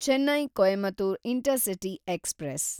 Chennai Coimbatore intercity express